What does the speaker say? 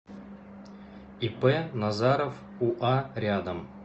ип назаров уа рядом